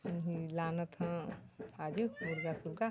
लानत हव आजु मुर्गा सुग्गा--